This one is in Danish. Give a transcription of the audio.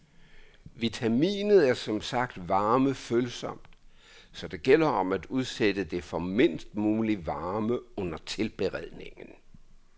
Vitaminet er som sagt varmefølsomt, så det gælder om at udsætte det for mindst mulig varme under tilberedningen.